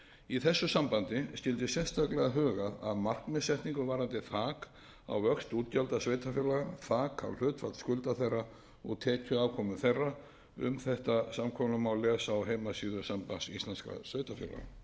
í þessu sambandi skyldi sérstaklega huga að markmiðssetningu varðandi þak á vöxt útgjalda sveitarfélaga þak á hlutfall skulda þeirra og tekjuafkomu þeirra um þetta samkomulag má lesa á heimasíðu sambands íslenskra sveitarfélaga